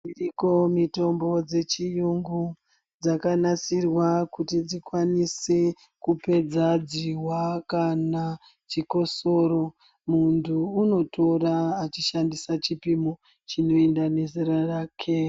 Iriyo mitombo dzechiyungu, dzakanasirwa kuti dzikwanise kupedza dzihwa kana chikosoro. Muntu unotora achishandisa chipimo chinoenda nezera rake.